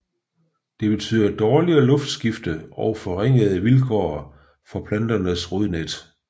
Det betyder dårligere luftskifte og forringede vilkår for planternes rodnet